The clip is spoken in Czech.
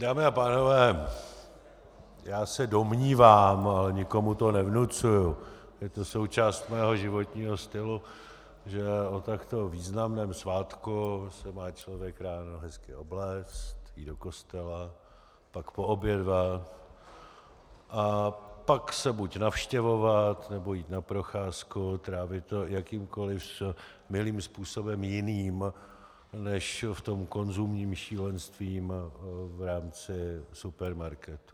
Dámy a pánové, já se domnívám, ale nikomu to nevnucuji, je to součást mého životního stylu, že o takto významném svátku se má člověk ráno hezky obléct, jít do kostela, pak poobědvat a pak se buď navštěvovat, nebo jít na procházku, trávit to jakýmkoliv milým způsobem jiným než v tom konzumním šílenství v rámci supermarketu.